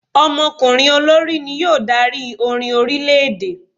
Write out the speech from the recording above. Ọmọkùnrin olórí ni yóò dari orín orilẹ-ede